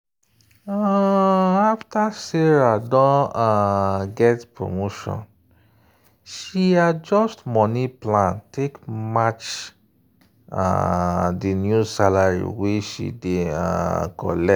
um after sarah don um get promotion she adjust money plan take match the new salary wey she dey um collect.